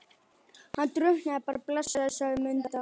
Hann drukknaði bara blessaður, sagði Munda.